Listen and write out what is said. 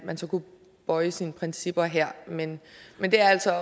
man så kunne bøje sine principper her men men det er altså